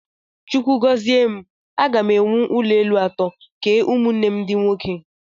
Chukwu gọzie m, aga m ewu ụlọelu atọ, kee ụmụnne m ndị nwoke